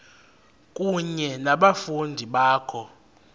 kunye nabafundi bakho